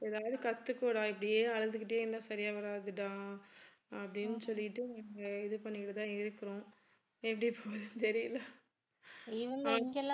ஏதாவது கத்துக்கோடா இப்படியே அழுதுகிட்டே இருந்தா சரியா வராதுடா அப்படின்னு சொல்லிட்டு இங்க இது பண்ணிட்டு தான் இருக்கிறோம். எப்படி போதுன்னு தெரியல